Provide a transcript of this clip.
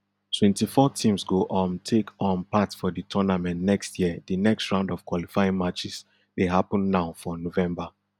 twenty-four teams go um take um part for di tournament next year di next round of qualifying matches dey happun now for november